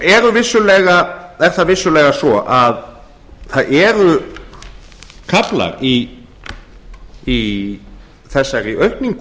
umsvifum nú er það vissulega svo að það eru kaflar í þessar aukningu